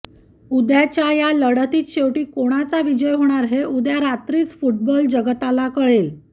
उद्याच्या या लढतीत शेवटी कोणाचा विजय होणार हे उद्या रात्रीच फुटबॉल जगताला कळेल